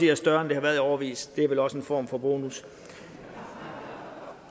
er større end det har været i årevis det er vel også en form for bonus